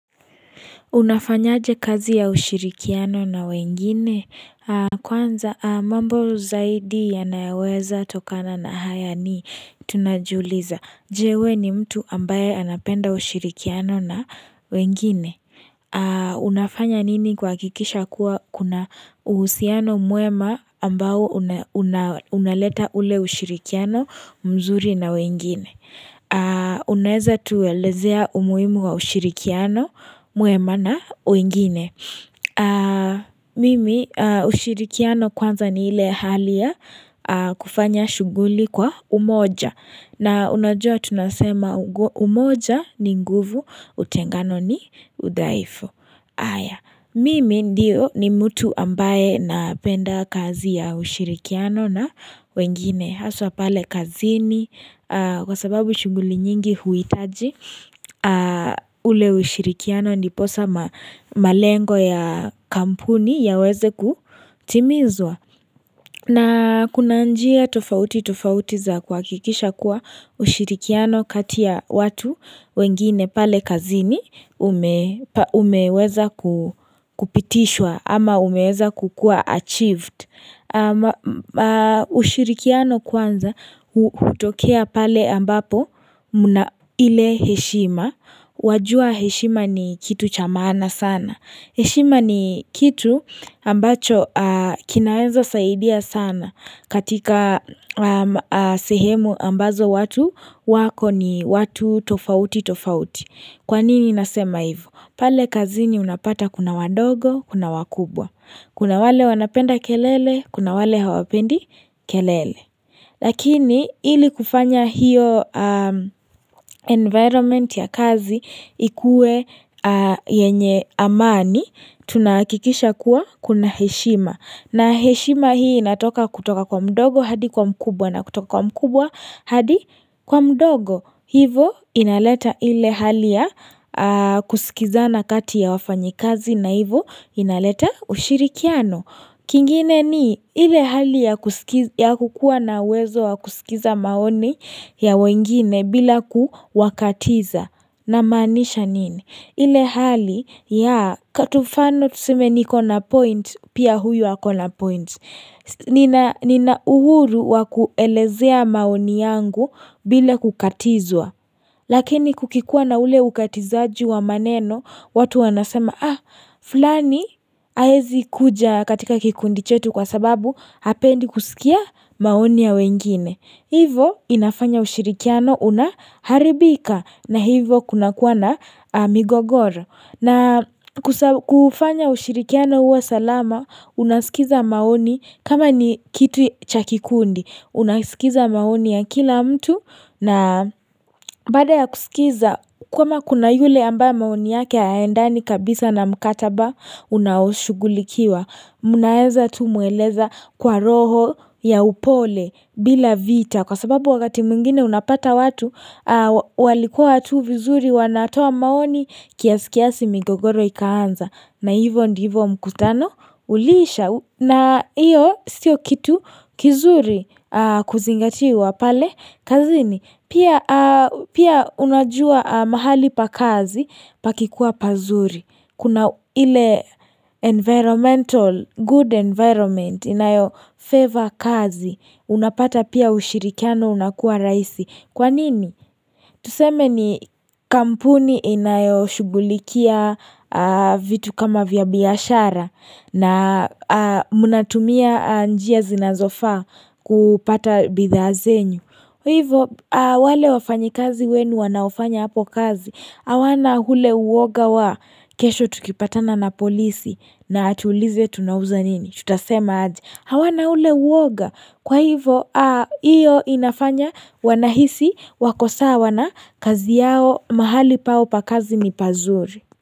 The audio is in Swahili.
Unafanyaje kazi ya ushirikiano na wengine kwanza mambo zaidi yanayowezatokana na haya ni tunajiuliza. Je we ni mtu ambaye anapenda ushirikiano na wengine. Unafanya nini kuhakikisha kuwa kuna uhusiano mwema ambao unaleta ule ushirikiano mzuri na wengine. Unaeza tuelezea umuimu wa ushirikiano mwema na wengine Mimi ushirikiano kwanza ni ile hali ya kufanya shughuli kwa umoja na unajua tunasema umoja ni nguvu utengano ni udhaifu Mimi ndio ni mtu ambaye napenda kazi ya ushirikiano na wengine Haswa pale kazini kwa sababu shughuli nyingi huitaji ule ushirikiano ndiposa malengo ya kampuni yaweze kutimizwa. Na kuna njia tofauti tofauti za kuhakikisha kuwa ushirikiano kati ya watu wengine pale kazini umeweza kupitishwa ama umeweza kukua achieved. Ushirikiano kwanza hutokea pale ambapo mna ile heshima Wajua heshima ni kitu cha maana sana heshima ni kitu ambacho kinaeza saidia sana katika sehemu ambazo watu wako ni watu tofauti tofauti Kwa nini nasema hivo? Pale kazini unapata kuna wadogo, kuna wakubwa Kuna wale wanapenda kelele, kuna wale hawapendi kelele Lakini ili kufanya hiyo environment ya kazi ikue yenye amani Tunahakikisha kuwa kuna heshima na heshima hii inatoka kutoka kwa mdogo hadi kwa mkubwa na kutoka kwa mkubwa hadi kwa mdogo Hivo inaleta ile hali ya kusikizana kati ya wafanyikazi na hivo inaleta ushirikiano. Kingine ni ile hali ya kukua na uwezo wa kusikiza maoni ya wengine bila kuwakatiza. Namaanisha nini? Ile hali ya katu mfano tuseme niko na point pia huyu ako na point. Nina uhuru wa kuelezea maoni yangu bila kukatizwa Lakini kukikua na ule ukatizaji wa maneno watu wanasema ah, fulani haezi kuja katika kikundi chetu kwa sababu hapendi kusikia maoni ya wengine Hivo inafanya ushirikiano unaharibika na hivo kunakuwa na migogoro na kufanya ushirikiano uwa salama Unasikiza maoni kama ni kitu cha kikundi Unasikiza maoni ya kila mtu na baada ya kusikiza kama kuna yule ambaye maoni yake hayaendani kabisa na mkataba Unaoshughulikiwa Mnaeza tu mweleza kwa roho ya upole bila vita kwa sababu wakati mwingine unapata watu walikuwa tu vizuri wanatoa maoni Kiasikiasi migogoro ikaanza na hivo ndivo mkutano Uliisha na iyo sio kitu kizuri kuzingatiwa pale kazini. Pia unajua mahali pa kazi pakikuwa pazuri. Kuna ile environmental good environment inayofavor kazi. Unapata pia ushirikiano unakua raisi. Kwa nini? Tuseme ni kampuni inayoshughulikia vitu kama vya biashara na mnatumia njia zinazofaa kupata bidhaa zenyu. Hivyo wale wafanyikazi wenu wanaofanya hapo kazi. Hawana hule uoga wa kesho tukipatana na polisi na atuulize tunauza nini? Tutasema aje hawana ule uoga kwa hivo iyo inafanya wanahisi wako sawa na kazi yao mahali pao pa kazi ni pazuri.